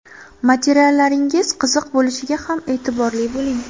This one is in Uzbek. Materiallaringiz qiziq bo‘lishiga ham e’tiborli bo‘ling.